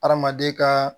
Hadamaden ka